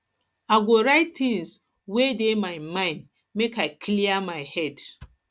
i go write tins wey dey um my mind um make i clear my head